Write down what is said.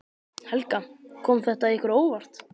Helga: Kom þetta ykkur á óvart?